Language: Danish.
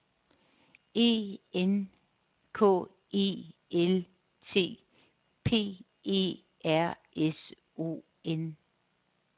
E N K E L T P E R S O N